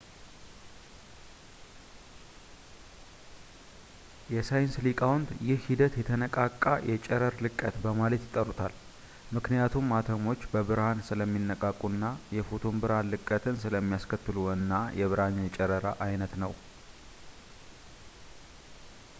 የሳይንስ ሊቃውንት ይህ ሂደት የተነቃቃ የጨረር ልቀት በማለት ይጠሩታል ምክንያቱም አተሞች በብርሃን ስለሚነቃቁ እና የፎቶን ብርሃን ልቀትን ስለሚያስከትሉ እና ብርሃን የጨረራ ዓይነት ነው